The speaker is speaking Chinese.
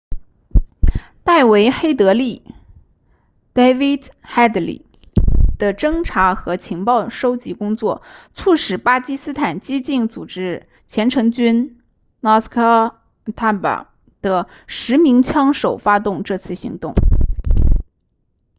戴维黑德利 david headley 的侦察和情报搜集工作促使巴基斯坦激进组织虔诚军 laskhar-e-taiba 的10名枪手发动这次行动